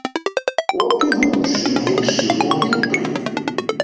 Opið hús um heilsu og heilbrigði